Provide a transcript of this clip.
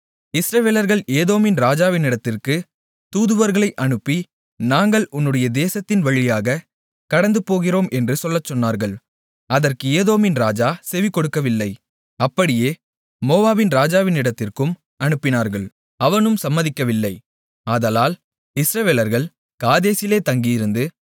இஸ்ரவேலர்கள் ஏதோமின் ராஜாவினிடத்திற்கு தூதுவர்களை அனுப்பி நாங்கள் உன்னுடைய தேசத்தின் வழியாகக் கடந்துபோகிறோம் என்று சொல்லச்சொன்னார்கள் அதற்கு ஏதோமின் ராஜா செவிகொடுக்கவில்லை அப்படியே மோவாபின் ராஜாவினிடத்திற்கும் அனுப்பினார்கள் அவனும் சம்மதிக்கவில்லை ஆதலால் இஸ்ரவேலர்கள் காதேசிலே தங்கியிருந்து